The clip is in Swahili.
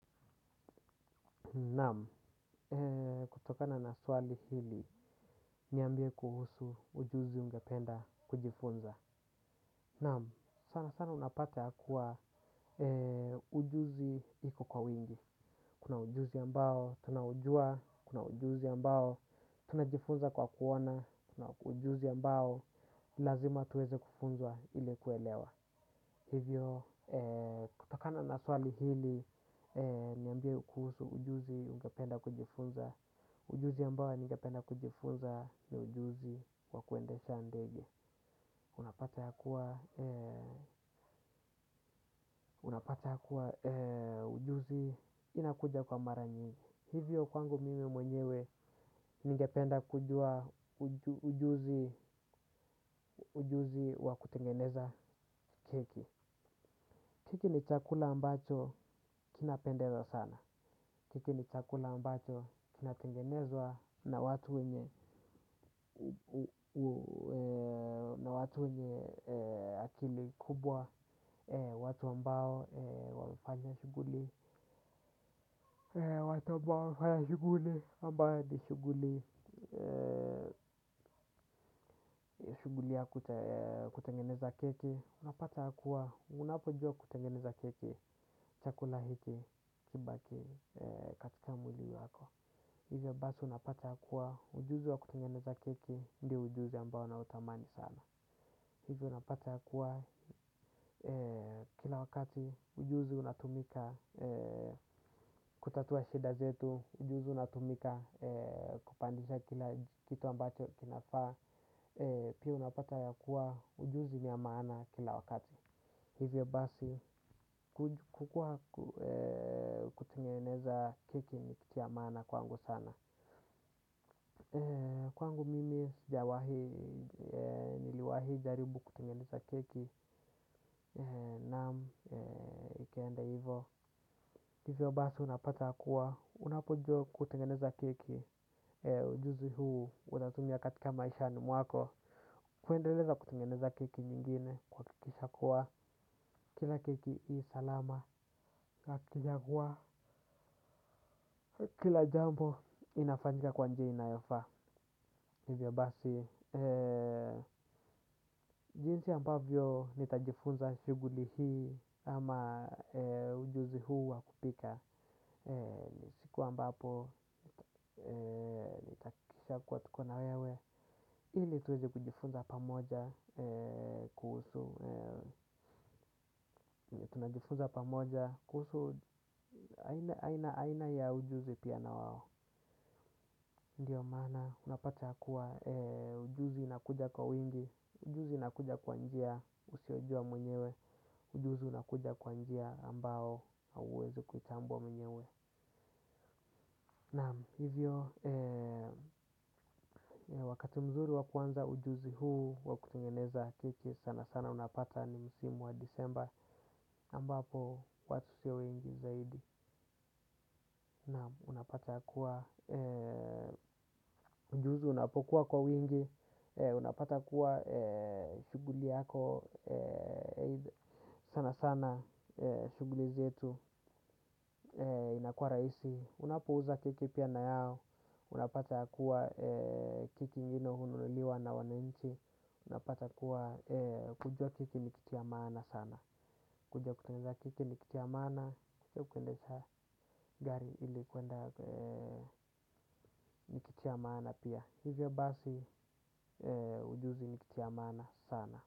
Naam, kutokana na swali hili, niambie kuhusu ujuzi ungependa kujifunza. Naam, sana sana unapata ya kuwa ujuzi iko kwa wingi. Kuna ujuzi ambao, tunaujua, kuna ujuzi ambao, tunajifunza kwa kuoana, kuna ujuzi ambao, lazima tuweze kufunzwa ili kuelewa. Hivyo, kutokana na swali hili, niambie kuhusu ujuzi ungependa kujifunza. Ujuzi ambao ningependa kujifunza ni ujuzi kwa kuendesha ndege. Unapata ya kuwa ujuzi inakuja kwa mara nyingi. Hivyo, kwangu mimi mwenyewe ningependa kujua ujuzi wa kutengeneza keki. Keki ni chakula ambacho kinapendeza sana. Keki ni chakula ambacho kinatengenezwa na watu wenye na watu wenye akili kubwa. Watu ambao wafanya shuguli. Watu ambao wafanya shuguli ambayo ni shuguli. Shuguli ya kutengeneza keki. Unapata ya kuwa unapojua kutengeneza keki chakula hiki kibaki katika mwili wako. Hivyo basi unapata ya kuwa ujuzi wa kutengeneza keki ndio ujuzi ambao nautamani sana. Hivyo unapata ya kuwa kila wakati ujuzi unatumika kutatua shida zetu, ujuzi unatumika kupandisha kila kitu ambacho kinafaa. Pia unapata ya kuwa ujuzi niyamana kila wakati. Hivyo basi kutingeneza keki ni kitu ya maana kwangu sana. Kwangu mimi sijawahi niliwahi jaribu kutengeneza keki naam ikaenda hivo hivyo basi unapata ya kuwa unapojuwa kutengeneza keki ujuzi huu unatumia katika maisha ni mwako. Kuendeleza kutengeneza keki nyingine kuhakikisha kuwa kila keki ii salama kijakua kila jambo inafanjika kwa njia inayofa hivyo basi, jinsi ambavyo nitajifunza shuguli hii ama ujuzi huu wakupika, ni siku ambapo nitahakikisha kuwa tukona wewe, ili tuweze kujifunza pamoja kuhusu, tunajifunza pamoja kuhusu aina ya ujuzi pia na wao. Ndiyo maana unapata ya kuwa ujuzi inakuja kwa wingi. Ujuzi inakuja kwa njia usiojua mwenyewe. Ujuzi inakuja kwa njia ambao hauwezi kuitambuwa mwenyewe. Naam, hivyo wakati mzuri wa kuanza ujuzi huu wa kutengeneza keki. Sana sana unapata ni msimu wa disemba ambapo watu sio wengi zaidi. Naam, unapata ya kuwa ujuzi unapokuwa kwa wingi. Unapata kuwa shuguli yako sana sana shuguli zetu inakua rahisi. Unapouza keki pia na yao. Unapata ya kuwa keki ingine hununuliliwa na wananchi. Unapata kuwa kujua keki ni kitu ya maana sana. Kujua kutengeneza keki ni kitu ya maana kujua kuendesa gari ili kuenda ni kitu ya maana pia. Hivyo basi ujuzi ni kitu ya maana sana.